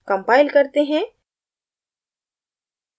compile करते हैं